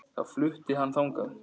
Þá flutti hann þangað.